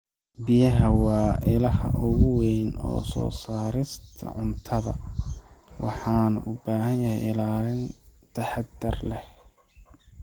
Biyaha waa ilaha ugu weyn ee soo saarista cuntada, waxaana u baahanahay ilaalin taxadar leh.